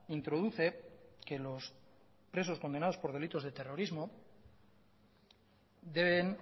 introduce que los presos condenados por delitos de terrorismo deben